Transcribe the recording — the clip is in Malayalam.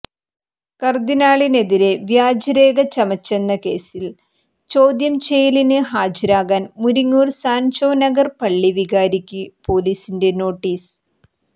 കർദ്ദിനാളിനെതിരെ വ്യാജരേഖ ചമച്ചെന്ന കേസിൽ ചോദ്യം ചെയ്യലിന് ഹാജരാകാൻ മുരിങ്ങൂർ സാൻജോ നഗർ പള്ളി വികാരിക്ക് പൊലീസിന്റെ നോട്ടീസ്